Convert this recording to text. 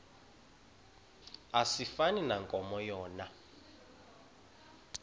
asifani nankomo yona